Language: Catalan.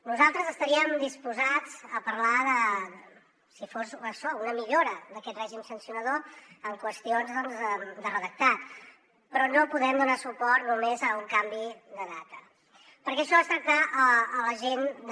nosaltres estaríem disposats a parlar si fos això una millora d’aquest règim sancionador de qüestions doncs de redactat però no podem donar suport només a un canvi de data perquè això és tractar la gent de